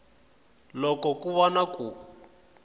loko ku va na ku